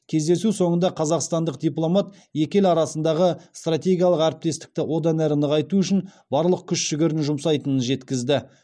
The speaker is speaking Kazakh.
кездесу соңында қазақстандық дипломат екі ел арасындағы стратегиялық әріптестікті одан әрі нығайту үшін барлық күш жігерін жұмсайтынын жеткізді